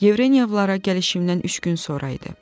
Yevrenyovlara gəlişimdən üç gün sonra idi.